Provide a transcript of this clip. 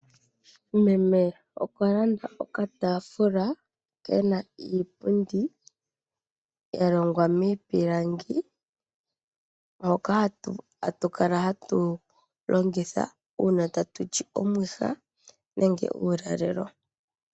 Meme okwa landa okataafula kena iipundi ya longwa miipilangi . Hoka hatu kala tatu longitha uuna tatu li omwiha nenge uulalelo.